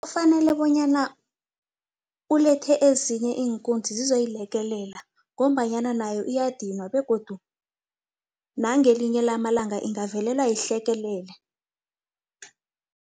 Kufanele bonyana ulethe ezinye iinkunzi zizoyilekelela ngombanyana nayo uyadinwa begodu nangelinye lamalanga ingavelelwa yihlekelele.